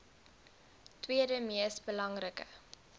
tweede mees belangrike